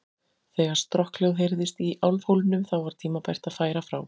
Þegar strokkhljóð heyrðist í álfhólnum, þá var tímabært að færa frá.